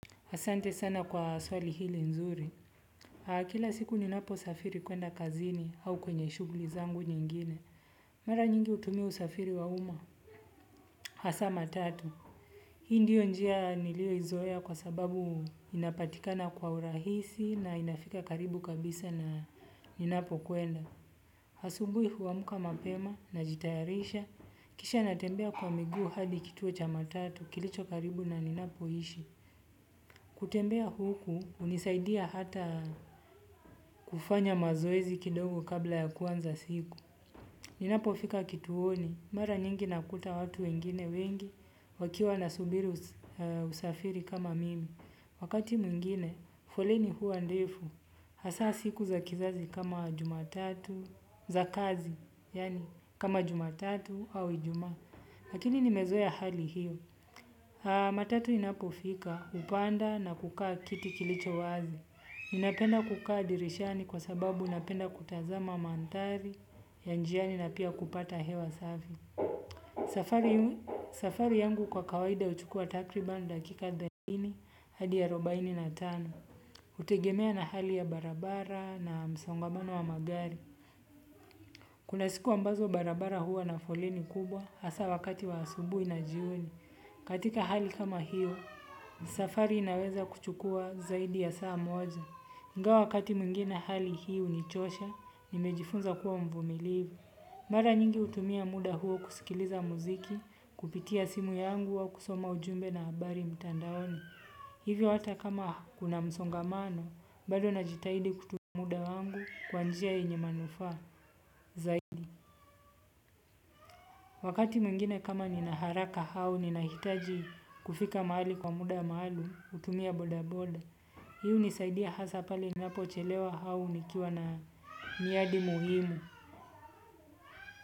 Asante sana kwa swali hili nzuri. Kila siku ninaposafiri kwenda kazini au kwenye shugli zangu nyingine. Mara nyingi hutumiu usafiri wa umma. Hasa matatu. Hii ndiyo njia niliyoizoea kwa sababu inapatikana kwa urahisi na inafika karibu kabisa na ninapo kwenda. Asubui huamka mapema najitayarisha. Kisha natembea kwa miguu hadi kituo cha matatu kilicho karibu na ninapo ishi. Kutembea huku hunisaidia hata kufanya mazoezi kidogo kabla ya kuanza siku. Ninapofika kituoni mara nyingi nakuta watu wengine wengi wakiwa na subiri usafiri kama mimi. Wakati mwingine foleni huwa ndefu hasa siku za kizazi kama jumatatu za kazi yani kama jumatatu au ijuma. Lakini nimezoea hali hiyo. Haa matatu inapofika hupanda na kukaa kiti kilicho wazi napenda kukaa dirishani kwa sababu napenda kutazama mandhari ya njiani na pia kupata hewa safi. Safari yangu kwa kawaida huchukua takriban dakika thelathini hadi arubaini na tano hutegemea na hali ya barabara na msongamano wa magari. Kuna siku ambazo barabara huwa na foleni kubwa hasa wakati wa asubuhi na jioni. Katika hali kama hiyo, safari inaweza kuchukua zaidi ya saa moja. Ingawa wakati mwingine hali hii hunichosha, nimejifunza kuwa mvumilivu. Mara nyingi hutumia muda huu kusikiliza muziki, kupitia simu yangu au kusoma ujumbe na habari mtandaoni. Hivyo hata kama kuna msongamano, bado najitaidi kutumia muda wangu kwa njia yenye manufaa zaidi. Wakati mwingine kama nina haraka au ninahitaji kufika mahali kwa muda maalum hutumia bodaboda. Hii hunisaidia hasa pale, napochelewa au nikiwa na miadi muhimu.